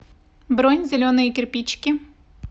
бронь зеленые кирпичики